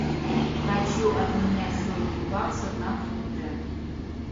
хочу обменять сотню баксов на фунты